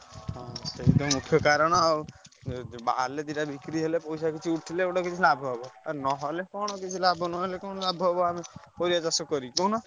ହଁ ସେଇଟା ମୁଖ୍ୟ କାରଣ ଆଉ ବାହାରିଲେ ଦିଟା ବିକ୍ରୀହେଲେ ପଇସା କିଛି ଉଠିଲେ ଲାଭ ହବ ନହେଲେ କଣ କିଛି ଲାଭ ନହେଲେ କଣ ଆମେ ପରିବାଚାଷ କରି କହୁନ।